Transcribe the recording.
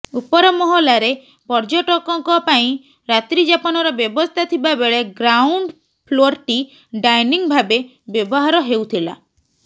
ଉପରମହଲାରେ ପର୍ଯ୍ୟଟକଙ୍କ ପାଇଁ ରାତ୍ରୀଯାପନର ବ୍ୟବସ୍ଥା ଥିବା ବେଳେ ଗ୍ରାଉଣ୍ଡ ଫ୍ଲୋରଟି ଡାଇନିଂ ଭାବେ ବ୍ୟବହାର ହେଉଥିଲା